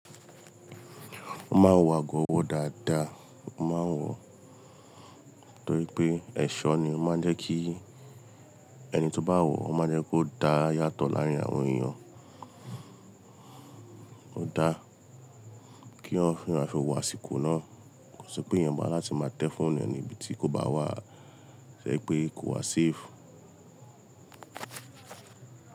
Ó máa ń wo ago owọ́ dáadáa, ó máa ń wò pé ẹ̀ṣọ́ ni ó máa ń jẹ́ kí ẹni tó bá wọ̀ ọ́ máa jẹ́ kó dà yàtọ̀ láàrin àwọn èèyàn. Ó dáa kí wọ́n fi aso wo àsìkò náà, kí ó sì pé ìyẹn ba láti máa tẹ fún ẹni níbi tí kò bá wà, ṣẹ́ pé kò wá sefu.